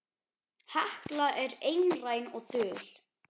Hekla er einræn og dul.